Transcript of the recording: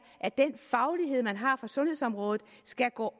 at den faglighed man har fra sundhedsområdet skal gå